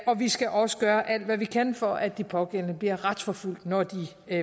vi skal også gøre alt hvad vi kan for at de pågældende bliver retsforfulgt når de